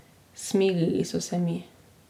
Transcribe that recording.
Smilili so se mi.